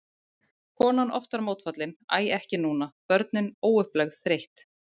Konan oftar mótfallin, æ ekki núna, börnin, óupplögð, þreytt.